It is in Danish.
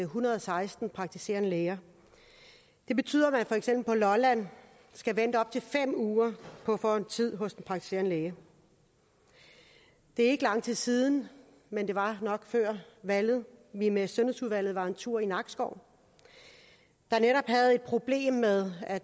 hundrede og seksten praktiserende læger det betyder at man for eksempel på lolland skal vente op til fem uger på at få en tid hos en praktiserende læge det er ikke lang tid siden men det var nok før valget vi med sundhedsudvalget var en tur i nakskov der netop havde problemer med at